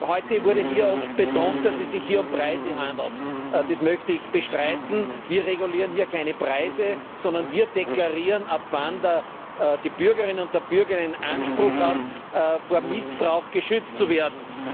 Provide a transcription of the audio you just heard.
Heute wurde hier oft betont, dass es um die Preise geht. Das möchte ich bestreiten. Wir regulieren hier keine Preise, sondern wir deklarieren, ab wann die Bürgerin und der Bürger einen Anspruch hat, vor Missbrauch geschützt zu werden.